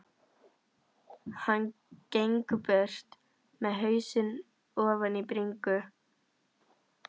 Hann gengur burt með hausinn ofan í bringu.